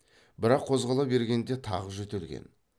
бірақ қозғала бергенде тағы жөтелген